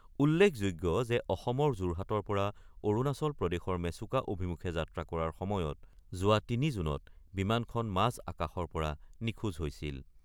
উল্লেখযোগ্য যে অসমৰ যোৰহাটৰ পৰা অৰুণাচল প্ৰদেশৰ মেচুকা অভিমুখে যাত্ৰা কৰাৰ সময়ত যোৱা ৩ জুনত বিমানখন মাজ আকাশৰ পৰা নিখোজ হৈছিল।